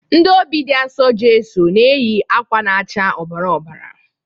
Ndị Obị dị Asọ Jeso na-eyi akwa na-acha ọbara ọbara.